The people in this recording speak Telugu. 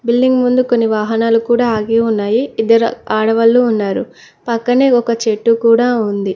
బిల్లింగ్ ముందు కొన్ని వాహనాలు కూడా ఆగి ఉన్నాయి ఇద్దరు ఆడవాళ్ళు ఉన్నారు పక్కనే ఒక చెట్టు కూడా ఉంది.